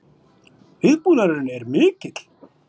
Viðbúnaðurinn er mikill